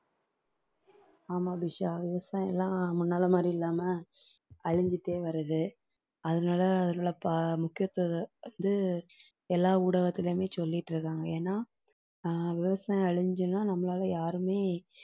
ஆமா அபிஷா விவசாயம் எல்லாம் முன்னாலே மாதிரி இல்லாம அழிஞ்சிட்டே வருது அதனாலே அதனுடைய ப~ முக்கியத்துவம் வந்து எல்லா ஊடகத்திலேயுமே சொல்லிட்டு இருக்காங்க ஏன்னா ஆஹ் விவசாயம் அழிஞ்சுச்சுன்னா நம்மளாலே யாருமே